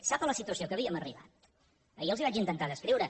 sap la situació a què havíem arribat ahir els la vaig intentar descriure